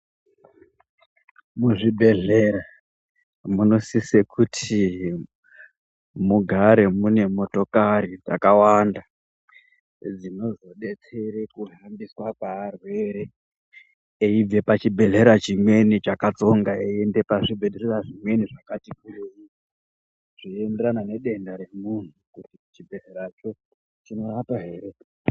Muzvibhehlera munosisa kuti mugare munemotokari dzakawanda dzinozodetsera kurumbisa kwevarwere eibva pachibhehleya chimweni chakakatsonga veienda kune zvibhehlera zvimweni zvakatikurei zveinderana nedenda remunhu kuti chibhehleracho chinorapa here